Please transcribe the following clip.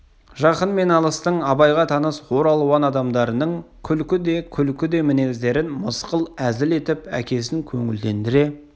жақын мен алыстың абайға таныс ор алуан адамдарының күлкі де күлкі де мінездерін мысқыл әзіл етіп әкесін көңілдендіре